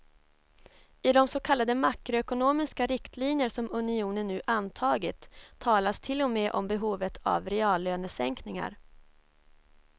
I de så kallade makroekonomiska riktlinjer som unionen nu antagit talas till och med om behovet av reallönesänkningar.